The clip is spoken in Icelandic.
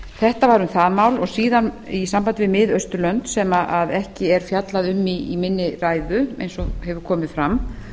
þetta var um það mál síðan í sambandi við mið austurlönd sem ekki er fjallað um í minni ræðu eins og hefur komið fram